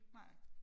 Nej